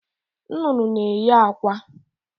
Nnụnụ n'eyị akwa